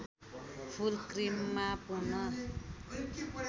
फुल क्रिममा पूर्ण